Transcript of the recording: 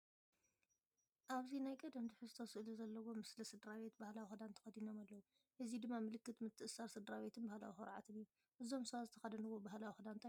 ኣብዚ ናይ ቀደም ትሕዝቶ ስእሊ ዘለዎ ምስሊ ስድራቤት ባህላዊ ክዳን ተኸዲኖም ኣለው፡ እዚ ድማ ምልክት ምትእስሳር ስድራቤትን ባህላዊ ኩርዓትን እዩ። እዞም ሰባት ዝተኽደንዎ ባህላዊ ክዳን እንታይ ተባሂሉ ይፅዋዕ?